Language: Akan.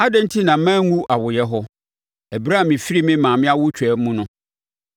“Adɛn enti na manwu awoeɛ hɔ, ɛberɛ a mefiri me maame awotwaa mu no?